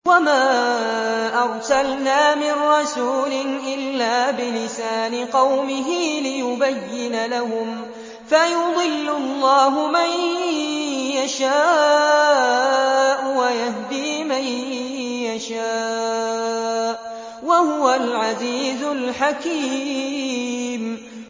وَمَا أَرْسَلْنَا مِن رَّسُولٍ إِلَّا بِلِسَانِ قَوْمِهِ لِيُبَيِّنَ لَهُمْ ۖ فَيُضِلُّ اللَّهُ مَن يَشَاءُ وَيَهْدِي مَن يَشَاءُ ۚ وَهُوَ الْعَزِيزُ الْحَكِيمُ